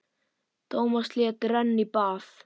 Tómas lét renna í bað.